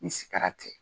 Ni sikara cɛ